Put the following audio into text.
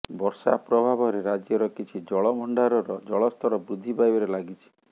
ବର୍ଷା ପ୍ରଭାବରେ ରାଜ୍ୟର କିଛି ଜଳଭଣ୍ଡରର ଜଳସ୍ତର ବୃଦ୍ଧି ପାଇବାରେ ଲାଗିଛି